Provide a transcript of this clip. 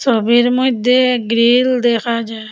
ছবির মইধ্যে গ্রীল দেখা যার ।